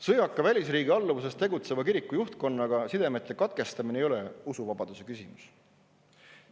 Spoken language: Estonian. Sõjaka välisriigi alluvuses tegutseva kiriku juhtkonnaga sidemete katkestamine ei ole usuvabaduse küsimus.